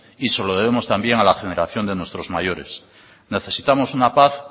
y se lo debemos también a la generación de nuestros mayores necesitamos una paz